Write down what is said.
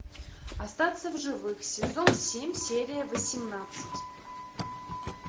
остаться в живых сезон семь серия восемнадцать